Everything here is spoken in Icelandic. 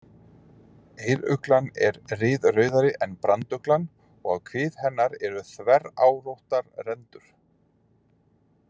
Eyruglan er ryðrauðari en branduglan og á kvið hennar eru þverrákóttar rendur.